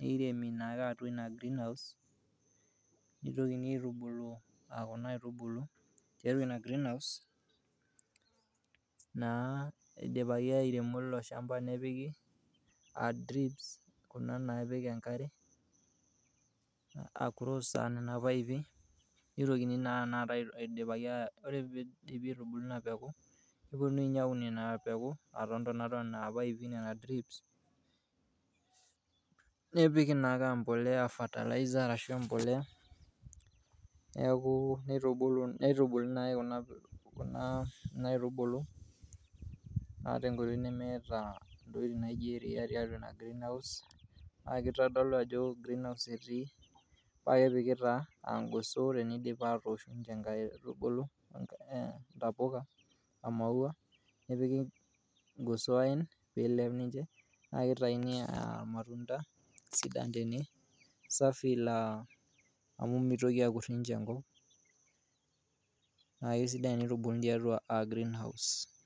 neiremi naake atua ina greehouse, nitokini aitubulu a kuna aitubulu tiatua ina greenhouse naa idipaki airemo ilo shamba, nepiki a drips kuna naapik enkare a cross nena paipi, nitokini naa anakata idipaki ore piidipi aitubulu ina peku, neponui nye aun ina peku to ntonat o nena paipi nena drips. Nepiki naake a mbolea fertilizer arashu embolea neeku nitubulu nai kuna aitubulu naa tenkoitoi nemeeta naa kuna tokitin naijo iria tiatua ina geenhouse. Neeku ake itodolu ajo atua greenhouse etii pae epiki taa aa ing'oso tinidip atoosh ninje nkaitubulu ntapuka, we maua, nepiki irgoso aen piilep ninje, naake itayuni aa irmatunda sidan tene, safi naa mitoki akur ninje enkop, neeku sidan tenitubuluni tiatua greenhouse.